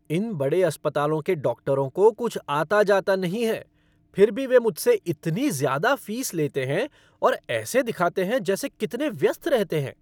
इन बड़े अस्पतालों के डॉक्टरों को कुछ आता जाता नहीं है, फिर भी वे मुझसे इतनी ज़्यादा फीस लेते हैं और ऐसे दिखाते हैं जैसे कितने व्यस्त रहते हैं।